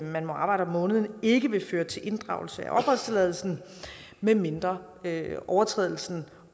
man må arbejde om måneden ikke vil føre til inddragelse af opholdstilladelsen medmindre overtrædelsen